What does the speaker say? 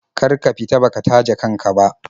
Kar ka fita baka taje kan ka ba.